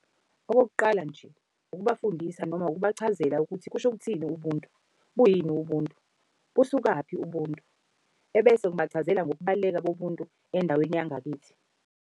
Okokuqala nje ukubafundisa noma ukubachazela ukuthi kusho ukuthini ubuntu? Buyini ubuntu? Busukaphi ubuntu? Ebese ngibachazela ngokubaluleka bobuntu endaweni yangakithi.